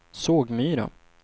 Sågmyra